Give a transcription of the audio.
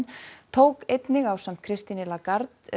tók einnig ásamt Christine Lagarde